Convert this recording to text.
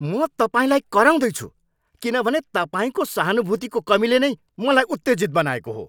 म तपाईँलाई कराउँदै छु किनभने तपाईँको सहानुभूतिको कमीले नै मलाई उत्तेजित बनाएको हो।